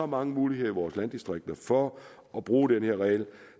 mange muligheder i vores landdistrikter for at bruge den her regel